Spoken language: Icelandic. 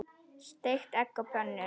Steikti egg á pönnu.